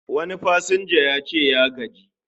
Wani pasanja yace ya gaji